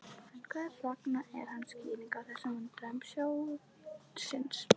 En hver er hans skýring á þessum vandræðum sjóðsins?